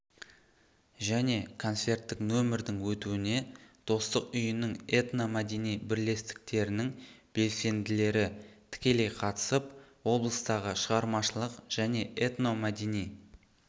және концерттік нөмірдің өтуіне достық үйінің этномәдени бірлестіктерінің белсенділері тікелей қатысып облыстағы шығармашылық және этномәдени